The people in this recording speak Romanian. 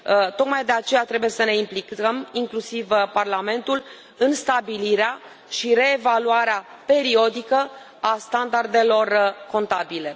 Tocmai de aceea trebuie să ne implicăm, inclusiv Parlamentul, în stabilirea și reevaluarea periodică a standardelor contabile.